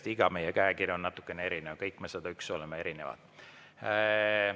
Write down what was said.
Tõesti, meist igaühe käekiri on natuke erinev, kõik me 101 oleme erinevad.